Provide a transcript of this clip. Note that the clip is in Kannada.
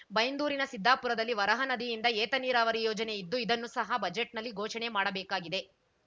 ಬೈಂದೂರಿನ ಸಿದ್ದಾಪುರದಲ್ಲಿ ವರಹ ನದಿಯಿಂದ ಏತ ನೀರಾವರಿ ಯೋಜನೆ ಇದ್ದು ಇದನ್ನು ಸಹ ಬಜೆಟ್‌ನಲ್ಲಿ ಘೋಷಣೆ ಮಾಡಬೇಕಾಗಿದೆ